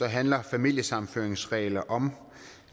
handler familiesammenføringsregler om